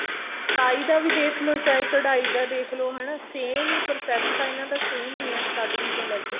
ਸਫਾਈ ਦਾ ਵੀ ਦੇਖਲੋ ਚਾਹੇ ਕਢਾਈ ਦਾ ਦੇਖਲੋ ਹਨਾ same ਈ process ਤਾਂ ਇਹਨਾ ਦਾ same ਈ ਐ starting ਤੋਂ ਲੈ ਕੇ